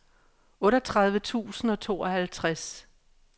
otteogtredive tusind og tooghalvtreds